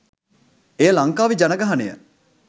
එය ලංකාවේ ජනගහනය